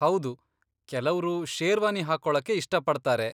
ಹೌದು, ಕೆಲವ್ರು ಶೇರ್ವಾನಿ ಹಾಕೊಳಕ್ಕೆ ಇಷ್ಟಪಡ್ತಾರೆ.